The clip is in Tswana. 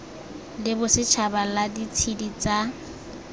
la bosetšhaba la ditshedi tsa